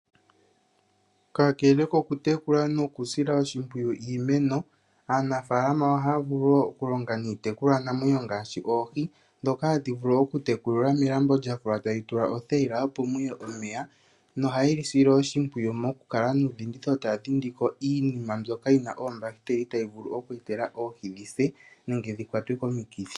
Kakele oku tekula noku sila oshimpwiyu iimeno. Aanafaalama ohaya vulu wo oku longa niitekulwa namwenyo ngaashi oohi ndhoka hadhi vulu oku tekulwa melambo lya fulwa etali tulwa othayila opo muye omeya, nohaye li sile oshimpwiyu moku kala nuudhindhitho taya dhindiko iinima mbyoka yina oombahiteli ya yi vulu oku etela oohi dhi se nenge dhi kwatwe komikithi.